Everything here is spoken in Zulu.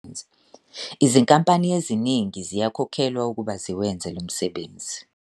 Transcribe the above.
Izinkampani eziningi ziyakhokhelwa ukuba ziwenze lo msebenzi.